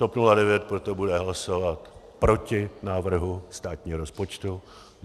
TOP 09 proto bude hlasovat proti návrhu státního rozpočtu.